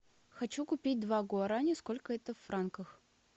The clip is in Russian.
хочу купить два гуараня сколько это в франках